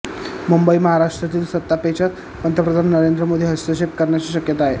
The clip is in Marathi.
मुंबईः महाराष्ट्रातील सत्तापेचात पंतप्रधान नरेंद्र मोदी हस्तक्षेप करण्याची शक्यता आहे